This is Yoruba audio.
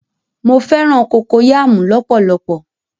Mọ fẹ̀ràn kokoyàmú lọ̀pọ̀lọ̀pọ̀.